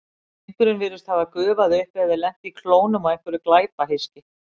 Drengurinn virðist hafa gufað upp eða lent í klónum á einhverju glæpahyski.